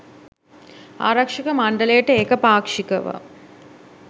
ආරක්‍ෂක මණ්ඩලයට ඒක පාක්‍ෂිකව